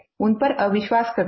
उन पर अविश्वास करते हैं